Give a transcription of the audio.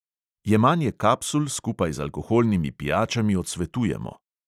Jemanje kapsul skupaj z alkoholnimi pijačami odsvetujemo.